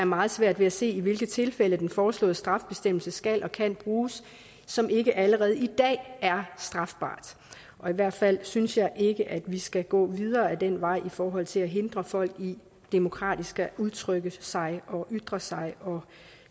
meget svært ved at se i hvilke tilfælde den foreslåede straffebestemmelse skal og kan bruges som ikke allerede i dag er strafbare og i hvert fald synes jeg ikke at vi skal gå videre ad den vej i forhold til at hindre folk i demokratisk at udtrykke sig og ytre sig og